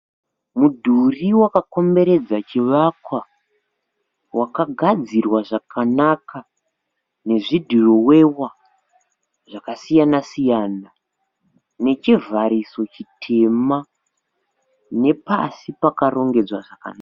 Mudhuri wakakomberedza chivakwa wakagadzirwa zvakanaka nezvidhirowewa zvakasiyana siyana, nechivhariso chitema nepasi pakarongedzwa zvakanaka.